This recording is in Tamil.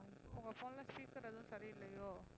உங்க phone ல speaker எதுவும் சரி இல்லையோ?